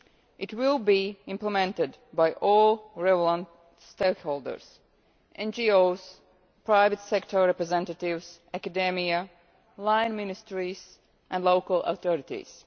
It will be implemented by all relevant stakeholders, NGOs, private sector representatives, academia, line ministries and local authorities.